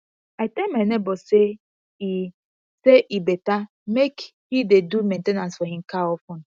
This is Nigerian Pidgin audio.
i tell my nebor say e say e better make he dey do main ten ance for him car of ten